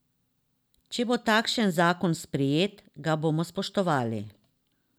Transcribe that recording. Če bo takšen zakon sprejet, ga bomo spoštovali.